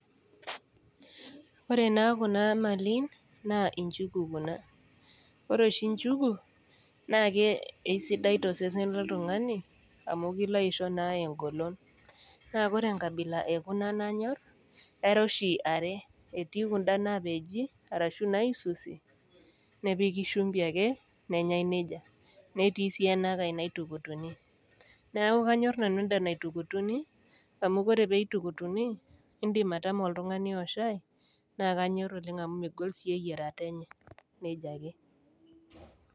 Kore naa kuna malin naa inchugu kuna, ore nchugu naake aisidai to sesen loltung'ani, amu kilo aisho naa engolon, naa ore enkabila e kuna nanyor era oshi are, etii kuna naapeji, anaa naisusi , nepiki shumbi ake, nenyai neija, netii sii ena kai naitukutuni, neaku kanyor nanu enda naitukutuni, amu ore pee eitukutuni, indim atama oltung'ani o shaai, naa kanyor oleng amu megol sii eyierata enye. neija ake.